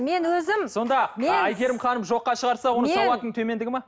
мен өзім сонда әйгерім ханым жоққа шығарса оның сауатының төмендігі ме